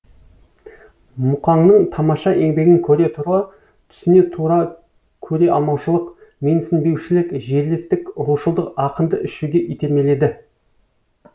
мұқаңның тамаша еңбегін көре тура түсіне тура көре алмаушылық менсінбеушілік жерлестік рушылдық ақынды ішуге итермеледі